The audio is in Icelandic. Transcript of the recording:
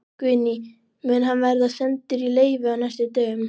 Guðný: Mun hann verða sendur í leyfi á næstu dögum?